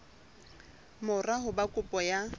mora ho ba kopo ya